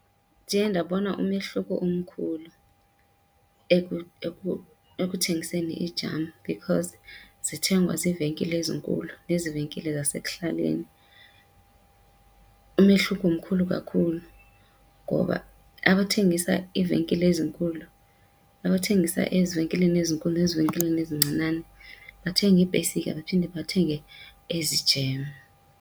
Ndiye ndabona umehluko omkhulu ekuthengiseni ii-jam because zithengwa ziivenkile ezinkulu nezi venkile zasekuhlaleni. Umehluko mkhulu kakhulu ngoba abathengisa iivenkile ezinkulu abathengisa ezivenkileni ezinkulu nezivenkileni ezincinane bathenga iipesika baphinde bathenge ezi jam.